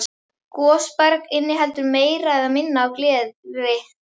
Gosberg inniheldur meira eða minna af gleri.